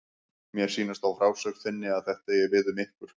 Mér sýnist á frásögn þinni að þetta eigi við um ykkur.